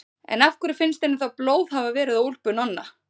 En af hverju finnst henni þá blóð hafa verið á úlpu Nonna?